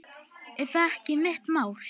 Er það ekki mitt mál?